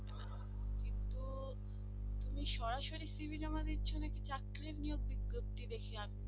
তুমি সরাসরি cv জমা দিচ্ছ না কি চাকরি নিয়োগ বিজ্ঞপ্তি দেখি আবেদন